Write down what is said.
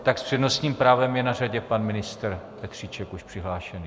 Tak s přednostním právem je na řadě pan ministr Petříček teď přihlášený.